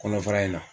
Kɔnɔfara in na